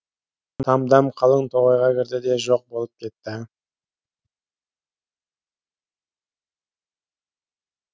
тамдам қалың тоғайға кірді де жоқ болып кетті